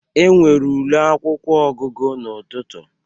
Enwere ule akwụkwọ ọgụgụ n'ụtụtụ.